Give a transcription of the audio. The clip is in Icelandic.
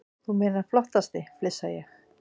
Þú meinar flottasti, flissa ég.